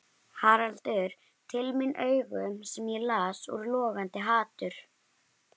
Haraldur til mín augum sem ég las úr logandi hatur.